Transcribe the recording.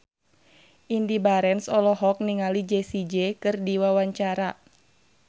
Indy Barens olohok ningali Jessie J keur diwawancara